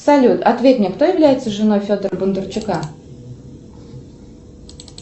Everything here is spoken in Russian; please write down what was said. салют ответь мне кто является женой федора бондарчука